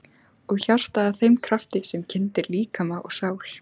Og hjartað að þeim krafti sem kyndir líkama og sál?